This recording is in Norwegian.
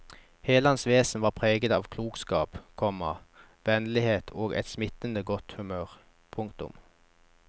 Hele hans vesen var preget av klokskap, komma vennlighet og et smittende godt humør. punktum